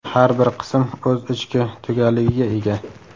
Har bir qism o‘z ichki tugalligiga ega.